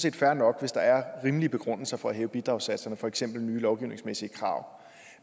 er fair nok hvis der er rimelige begrundelser for at hæve bidragssatserne for eksempel nye lovgivningsmæssige krav